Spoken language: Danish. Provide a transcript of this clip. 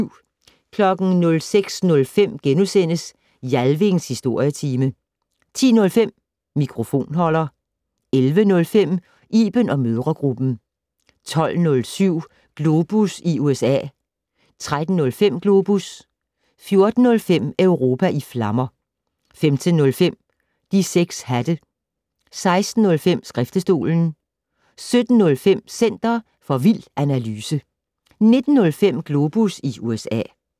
06:05: Jalvings Historietime * 10:05: Mikrofonholder 11:05: Iben & mødregruppen 12:07: Globus i USA 13:05: Globus 14:05: Europa i flammer 15:05: De 6 hatte 16:05: Skriftestolen 17:05: Center for vild analyse 19:05: Globus USA